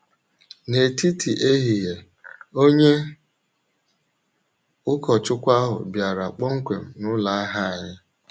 N’etiti ehihie, onye ụkọchukwu ahụ bịara kpọmkwem n’ụlọ ahịa anyị.